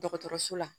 Dɔgɔtɔrɔso la